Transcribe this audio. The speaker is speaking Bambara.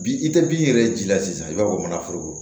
Bi i tɛ bin yɛrɛ ji la sisan i b'a fɔ bamananforo